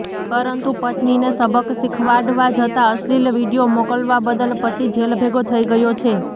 પરંતુ પત્નીને સબક શીખડાવવા જતાં અશ્લીલ વીડિયો મોકલવા બદલ પતિ જેલભેગો થઇ ગયો છે